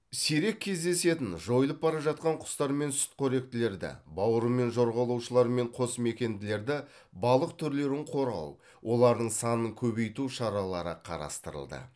сирек кездесетін жойылып бара жатқан құстар мен сүтқоректілерді бауырымен жорғалаушылар мен қосмекенділерді балық түрлерін қорғау олардың санын көбейту шаралары қарастырылды